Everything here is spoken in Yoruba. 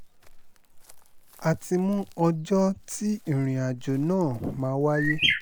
a ti mú ọjọ́ tí ìrìnàjò náà máa wáyé